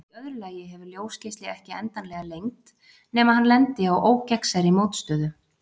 Í öðru lagi hefur ljósgeisli ekki endanlega lengd nema hann lendi á ógegnsærri mótstöðu.